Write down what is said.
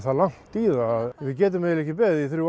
langt í það að við getum ekki beðið í þrjú